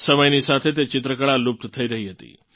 સમયની સાથે તે ચિત્રકળા લુપ્ત થઇ રહી હતી